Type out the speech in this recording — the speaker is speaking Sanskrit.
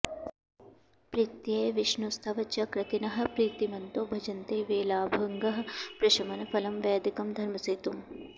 प्रीत्यै विष्णोस्तव च कृतिनः प्रीतिमन्तो भजन्ते वेलाभङ्गः प्रशमन फलं वैदिकं धर्मसेतुम्